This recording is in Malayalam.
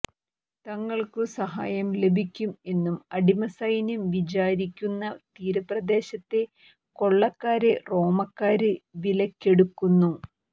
തങ്ങള്ക്കു സഹായം ലഭിക്കും എന്നു അടിമസൈന്യം വിചാരിക്കുന്ന തീരപ്രദേശത്തെ കൊള്ളക്കാരെ റോമാക്കാര് വിലയ്ക്കെടുക്കുന്നു